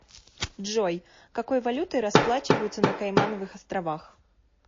джой какой валютой расплачиваются на каймановых островах